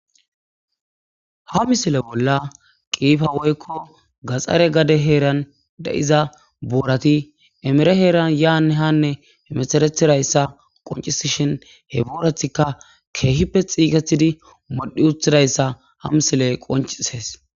Ha missile bola qifa woyko gaxare gade heran de'za borati emere heran yane hane hemeteretiraysa qonc'sishin he boratika kehipe xiketidi modhi utidaysa ha missile qonc'ises.